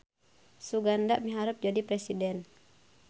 Suganda miharep jadi presiden